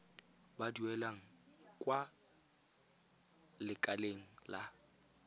ba duelang kwa lekaleng la